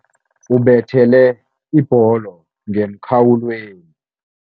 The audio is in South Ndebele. Ubethele ibholo ngemkhawulweni.